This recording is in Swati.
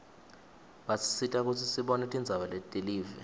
basisita kutsi sibone tindzaba telive